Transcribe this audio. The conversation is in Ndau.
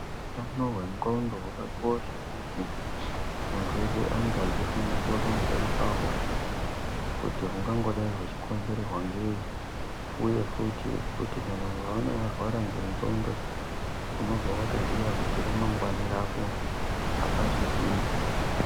Utano hwenxondo hwakakosha kuti muntu weshe ange achifundiswa pamusoro pahwo kuti hungangodai hwechikonzerwa ngeyi , uye futhi kuti kana ukaona warwara ngenxondo unobva watoziya kuti ramangwani rako apachisina.